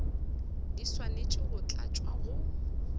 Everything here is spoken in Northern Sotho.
di swanetše go tlatšwa go